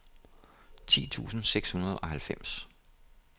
ti tusind seks hundrede og halvfems